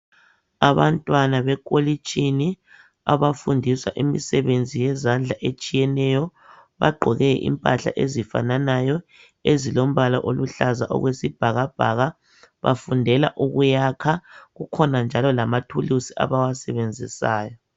Abantwana be college abafundiswa imisebenzi yezandla etshiyeneyo bagqoke impahla ezifananayo ezilombala oluhlaza okwesibhakabhaka bafundela ukuyakha kukhona njalo lamathulisi abawasebenzisayo